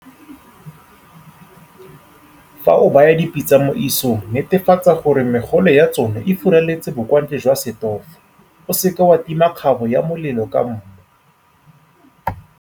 Fa o baya dipitsa mo isong netefatsa gore megole ya tsona e furaletse bokwantle jwa setofo. O seke wa tima kgabo ya molelo ka mmu.